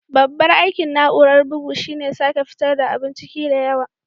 Babban aikin na'urar bugu shine sake fitar da abun ciki da yawa.